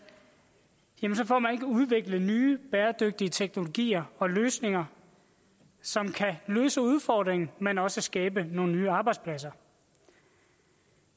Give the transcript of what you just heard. jamen så får man ikke udviklet nye bæredygtige teknologier og løsninger som kan løse udfordringen men også skabe nogle nye arbejdspladser